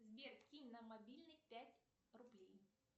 сбер кинь на мобильный пять рублей